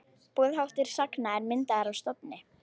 Boðháttur sagna er myndaður af stofni.